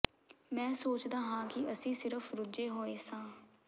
ਮੈਂ ਸੋਚਦਾ ਹਾਂ ਕਿ ਅਸੀਂ ਸਿਰਫ ਰੁੱਝੇ ਹੋਏ ਸਾਂ